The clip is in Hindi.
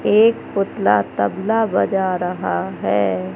एक पुतला तबला बजा रहा है।